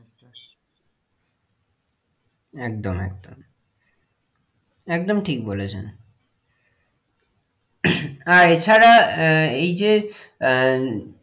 একদম একদম একদম ঠিক বলেছেন এছাড়া আহ এই যে আহ